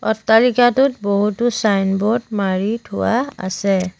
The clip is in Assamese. অট্টালিকাটোত বহুতো চাইনব'ৰ্ড মাৰি থোৱা আছে।